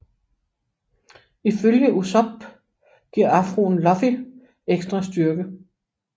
Ifølge Usopp giver afroen Luffy ekstra styrke